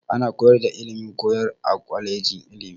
Ana koyar da ilimin koyarwa a kwaleji ilimi.